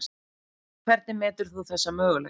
Hvernig metur þú þessa möguleika?